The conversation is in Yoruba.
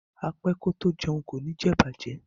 A pe ko to jeun ko ni je ibaje